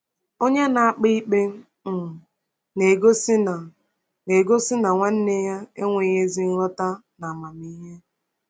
Onye na-akpa ikpe um na-egosi na na-egosi na nwanne ya enweghị ezi nghọta na amamihe.